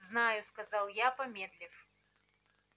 знаю сказал я помедлив